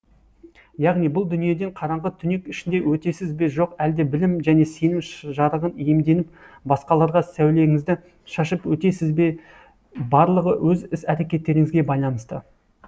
яғни бұл дүниеден қараңғы түнек ішінде өтесіз бе жоқ әлде білім және сенім жарығын иемденіп басқаларға сәулеңізді шашып өтесіз бе барлығы өз іс әрекеттеріңізге байланысты